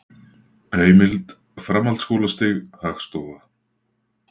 Heimild: Framhaldsskólastig- Hagstofa.